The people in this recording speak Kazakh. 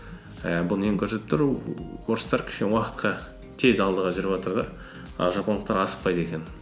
ііі бұл нені көрсетіп тұр орыстар кішкене уақытқа тез алдыға жүріватыр да а жапондықтар асықпайды екен